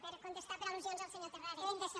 per contestar per al·lusions al senyor terrades